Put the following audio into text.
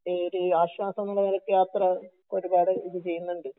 ഈ ഒരു ആശ്വാസം എന്നുള്ള ഒരു നിലക്ക് യാത്ര ഒരുപാട് ഇത് ചെയ്യുന്നുണ്ട്